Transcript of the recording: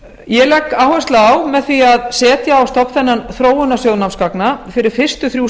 ég legg áherslu á með því að setja á stofn þennan þróunarsjóð námsgagna fyrir fyrstu þrjú